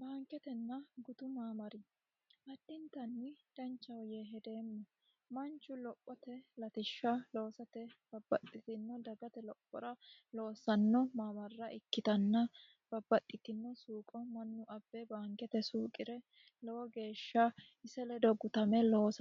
Baanketena gutu maamara addintanni danchate yee hedeemma. Manchu lophate loossano base ikkitanna Manchu woxe masse